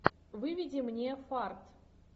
выведи мне фарт